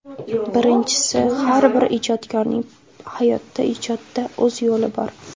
Birinchisi, har bir ijodkorning hayotda, ijodda o‘z yo‘li bor.